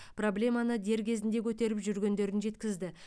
проблеманы дер кезінде көтеріп жүргендерін жеткізді